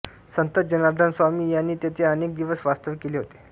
संत जनार्दनस्वामी यांनी तेथे अनेक दिवस वास्तव केले होते